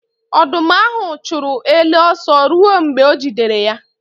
Ọdụm ahụ chụrụ ele ọsọ ruo mgbe o jidere ya.